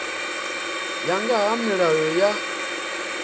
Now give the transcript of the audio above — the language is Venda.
ya nga ha milayo ya